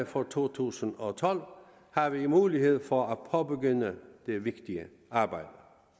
for to tusind og tolv har vi mulighed for at påbegynde det vigtige arbejde